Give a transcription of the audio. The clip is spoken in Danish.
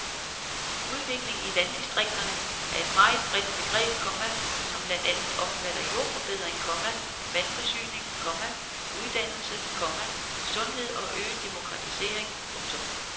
Udvikling i landdistrikterne er et meget bredt begreb, komma som blandt andet omfatter jordforbedring, komma vandforsyning, komma uddannelse, komma sundhed og øget demokratisering. punktum